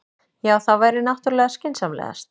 Já, það væri náttúrlega skynsamlegast.